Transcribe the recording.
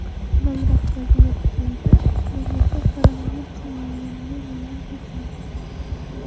Avvalroq Braziliya prezidenti mamlakat koronavirusni yengganini ma’lum qilgandi .